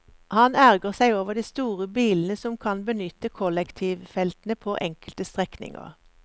Han ergrer seg over de store bilene som kan benytte kollektivfeltene på enkelte strekninger.